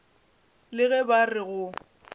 le ge ba re go